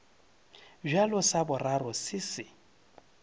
bjale sa boraro se se